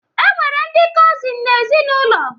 E nwere ndị kọzịn n'ezinaụlọ